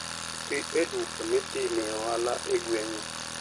Dhi e duka mitimee ohala e gweng'u.